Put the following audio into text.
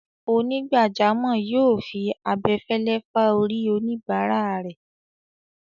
Onígbàjámọ̀ yóò fi abẹfẹ́lẹ́ fá orí oníbáràa rẹ̀.